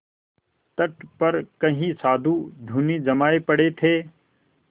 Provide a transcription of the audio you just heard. तट पर कई साधु धूनी जमाये पड़े थे